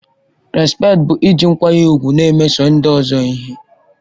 Respekti bụ iji nkwanye ùgwù na-emeso ndị ọzọ ihe.